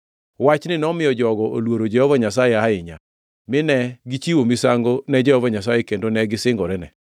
Wachni nomiyo jogo oluoro Jehova Nyasaye ahinya, mine gichiwo misango ne Jehova Nyasaye kendo ne gisingorene.